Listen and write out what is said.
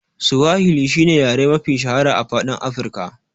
Suwahil shine yare mafi shahara a faɗin Afika.